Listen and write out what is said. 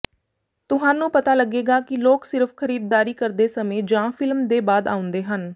ਤੁਹਾਨੂੰ ਪਤਾ ਲੱਗੇਗਾ ਕਿ ਲੋਕ ਸਿਰਫ਼ ਖਰੀਦਦਾਰੀ ਕਰਦੇ ਸਮੇਂ ਜਾਂ ਫਿਲਮ ਦੇ ਬਾਅਦ ਆਉਂਦੇ ਹਨ